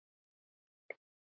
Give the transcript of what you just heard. Við áttum gott samtal.